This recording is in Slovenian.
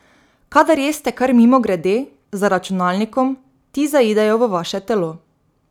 Kadar jeste kar mimogrede, za računalnikom, ti zaidejo v vaše telo.